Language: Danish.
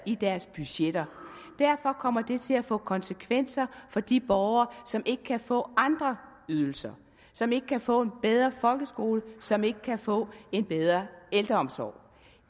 i deres budgetter derfor kommer det til at få konsekvenser for de borgere som ikke kan få andre ydelser som ikke kan få en bedre folkeskole som ikke kan få en bedre ældreomsorg